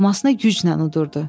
Loğmasını güclə uddurdu.